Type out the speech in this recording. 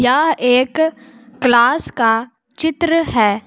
यह एक क्लास का चित्र है।